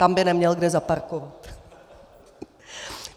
Tam by neměl kde zaparkovat.